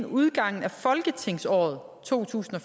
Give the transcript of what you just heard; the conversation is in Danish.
udgangen af to tusind og